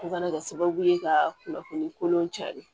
O kana kɛ sababu ye ka kunnafoni kolon cari